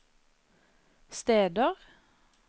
steder